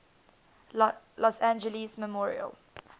los angeles memorial